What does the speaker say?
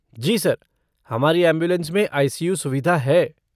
जी sir! हमारी ambulance में ICU. सुविधा है।